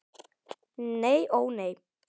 Nei ó nei.